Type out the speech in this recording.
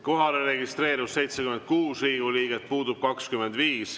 Kohalolijaks registreerus 76 Riigikogu liiget, puudub 25.